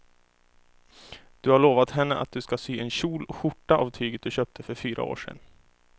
Du har lovat henne att du ska sy en kjol och skjorta av tyget du köpte för fyra år sedan.